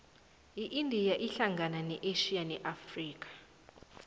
iindia ihlangana ne asia ne afrika